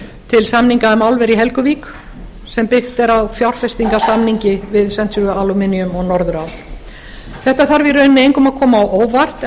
til samninga um álver í helguvík sem byggt er á fjárfestingarsamningi við century aluminum og norðurál þetta þarf í rauninni engum að koma á óvart